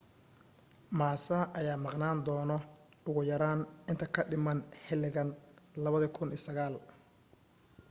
massa ayaa maqnaan doono ugu yaraan inta ka dhiman xiligan 2009